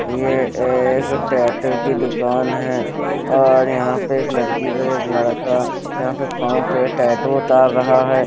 यह एक टैटू की दुकान है और यहाँ पे एक लड़की को एक लड़का यहाँ पे पांव पे टैटू उतार रहा है.